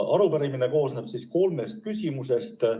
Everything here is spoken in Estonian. Arupärimine koosneb kolmest küsimusest.